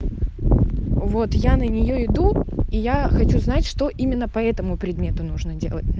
вот я на нее иду и я хочу знать что именно поэтому предмету нужно делать